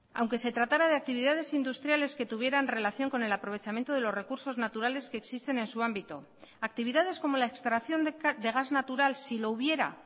aunque se tratara de actividades industriales que tuvieran relación con el aprovechamiento de los recursos naturales que existen en su ámbito actividades como la extracción de gas natural si lo hubiera